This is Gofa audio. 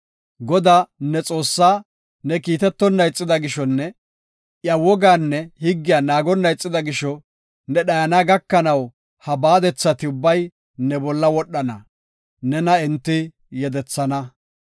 Godaa, ne Xoossaa, ne kiitetonna ixida gishonne iya wogaanne higgiya naagonna ixida gisho, ne dhayana gakanaw ha baadethati ubbay ne bolla wodhana; nena enti yedethana.